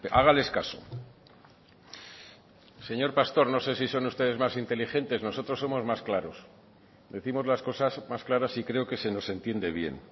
hágales caso señor pastor no sé si son ustedes más inteligentes nosotros somos más claros décimos las cosas más claras y creo que se nos entiende bien